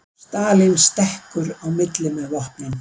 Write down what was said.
Stalín stekkur í milli með vopnin